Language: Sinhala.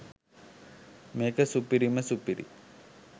මේක සුපිරිම සුපිරි